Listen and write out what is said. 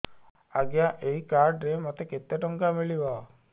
ଆଜ୍ଞା ଏଇ କାର୍ଡ ରେ ମୋତେ କେତେ ଟଙ୍କା ମିଳିବ